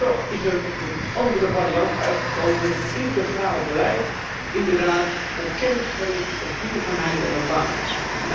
Toch is er een andere variant uitgekomen met een integraal beleid, inderdaad op kennis, op duurzaamheid en op banen gericht.